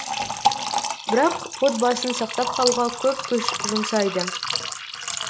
бірақ отбасын сақтап қалуға көп күш жұмсайды